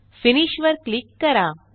finish वर click करा